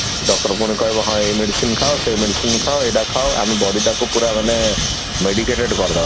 doctor ପୁଣି କହବ ହଁ ଏଇ medicine ଖାଅ ସେଇ medicine ଖାଅ ଏଇଟା ଖାଅ ଆମ body ଟାକୁ ପୁରା ମାନେ medicated କରିଦବ